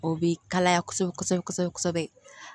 O bɛ kalaya kosɛbɛ kosɛbɛ kosɛbɛ